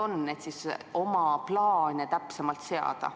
Oma plaane saaks selle põhjal täpsemalt seada.